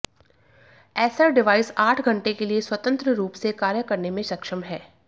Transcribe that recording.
Acer device आठ घंटे के लिए स्वतंत्र रूप से कार्य करने में सक्षम है